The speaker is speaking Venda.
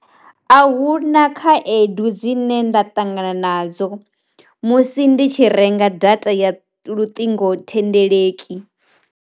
A huna khaedu dzine nda ṱangana nadzo musi ndi tshi renga data ya luṱingo thendeleki.